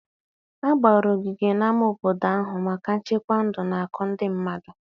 A gbara ogige na-ama obodo ahụ maka nchekwa ndụ na-akụ ndị mmadụ.